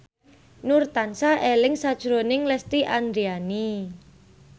Nur tansah eling sakjroning Lesti Andryani